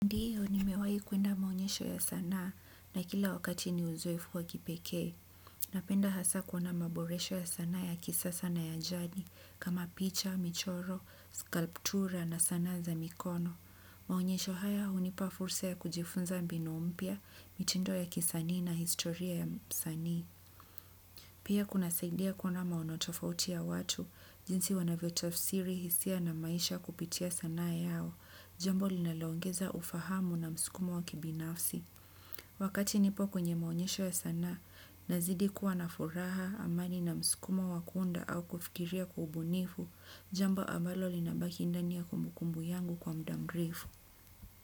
Ndiyo nimewahi kuenda maonyesho ya sanaa na kila wakati ni uzoefu wa kipekee. Napenda hasa kuona maboresho ya sanaa ya kisasa na ya jadi kama picha, michoro, skalptura na sanaa za mikono. Maonyesho haya hunipa fursa ya kujifunza mbinu mpya, mitindo ya kisanii na historia ya usani. Pia kunasaidia kuona maono tofauti ya watu, jinsi wanavyotafsiri hisia na maisha kupitia sanaa yao. Jambo linaloongeza ufahamu na msukumo wa kibinafsi. Wakati nipo kwenye maonyesho ya sanaa, nazidi kuwa na furaha amani na mskumo wa kuunda au kufikiria kiubunifu, jambo ambalo linabaki ndani ya kumbukumbu yangu kwa muda mrefu.